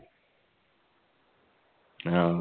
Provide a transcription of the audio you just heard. ആ